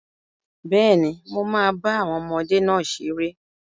Bẹ́ẹ̀ni, mo máa bá àwọn ọmọdé náà ṣeré